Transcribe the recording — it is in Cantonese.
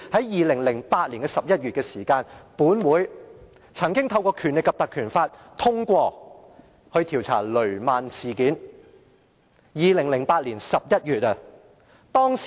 2008年11月，本會曾通過引用《立法會條例》調查雷曼事件，那是2008年11月。